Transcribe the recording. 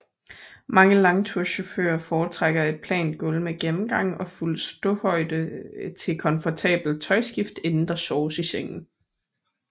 Mange langturschauffører foretrækker et plant gulv med gennemgang og fuld ståhøjde til komfortabelt tøjskift inden der soves i sengen